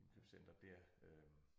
Indkøbscenteret dér øh